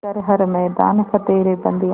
कर हर मैदान फ़तेह रे बंदेया